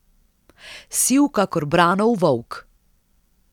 Siv kakor Branov volk.